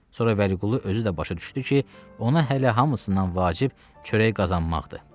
Sonra Vəliqulu özü də başa düşdü ki, ona hələ hamısından vacib çörək qazanmaqdır.